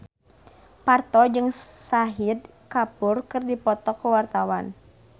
Parto jeung Shahid Kapoor keur dipoto ku wartawan